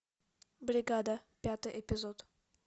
бригада пятый эпизод